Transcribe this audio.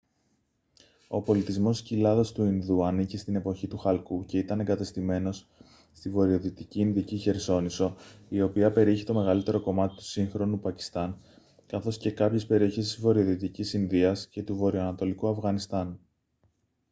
ο πολιτισμός της κοιλάδας του ινδού ανήκε στην εποχή του χαλκού και ήταν εγκατεστημένος στη βορειοδυτική ινδική χερσόνησο η οποία περιείχε το μεγαλύτερο κομμάτι του σύγχρονου πακιστάν καθώς και κάποιες περιοχές της βορειοδυτικής ινδίας και του βορειοανατολικού αφγανιστάν